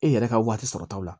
E yɛrɛ ka waati sɔrɔ taw la